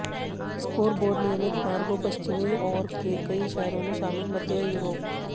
scoreboard नियमित मार्गों पश्चिमी और के कई शहरों में शामिल मध्य यूरोप